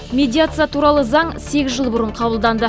медиация туралы заң сегіз жыл бұрын қабылданды